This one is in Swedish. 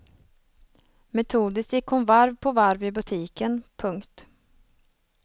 Metodiskt gick hon varv på varv i butiken. punkt